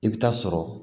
I bɛ taa sɔrɔ